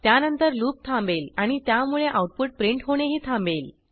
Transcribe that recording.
त्यानंतर लूप थांबेल आणि त्यामुळे आऊटपुट प्रिंट होणेही थांबेल